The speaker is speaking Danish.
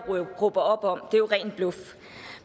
råber op om det er jo ren bluff